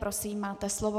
Prosím, máte slovo.